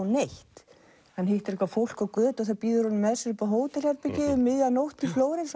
neitt hann hittir eitthvað fólk á götu sem býður honum með sér upp á hótel um miðja nótt í Flórens